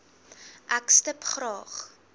ek stip graag